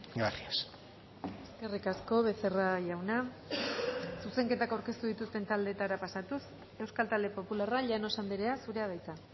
gracias eskerrik asko becerra jauna zuzenketak aurkeztu dituzten taldeetara pasatuz euskal talde popularra llanos andrea zurea da hitza